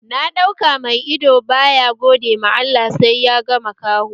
Na ɗauka mai ido baya gode ma Allah sai ya ga makaho?